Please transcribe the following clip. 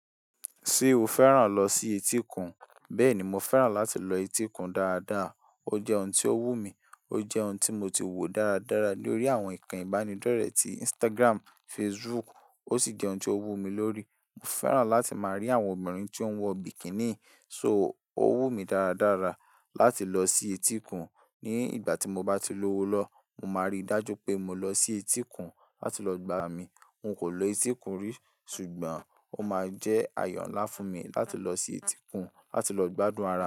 Ṣé o fẹ́ràn lọ sí etíkun? Bẹ́ẹ̀ni, mo fẹ́ràn láti lọ etíkun dáadáa. Ó jẹ́ ohun tí ó wù mí. Ó jẹ́ ohun tí mo ti wò dáradára lórí àwọn ìkàn ìbánidọ́rẹ̀ẹ́ ti Instagram, Facebook ó sì jẹ́ ohun tí ó wù mí lórí. Mo fẹ́ràn láti máa rí àwọn obìnrin tí ó ń wọ bikini, so ó wù mí dáradára láti lọ sí etíkun. Ni ìgbà tí mo bá ti lówó lọwo, mo máa rí dájú pé mo lọ sí etíkun láti lọ gbá ara mi. N kò lo etíkun rí, ṣùgbọ́n ó máa jẹ́ ayo nlá fùn mi láti lọ sí etíkun láti lọ gbádùn ara mi.